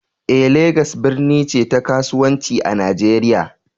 eh, Legas birni ce ta kasuwanci a Najeriya